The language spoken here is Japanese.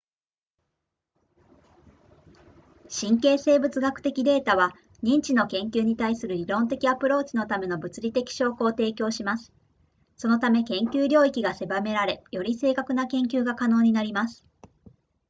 神経生物学的データは認知の研究に対する理論的アプローチのための物理的証拠を提供しますそのため研究領域が狭められより正確な研究が可能になります